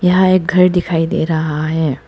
यहां एक घर दिखाई दे रहा है।